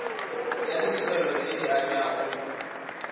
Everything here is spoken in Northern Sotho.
tša ditirelo tše di abjago